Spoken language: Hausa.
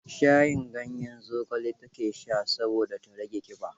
Shayin ganyen zogale ta ke sha saboda ta rage ƙiba.